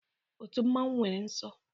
Otu mmanwu nwere nsọ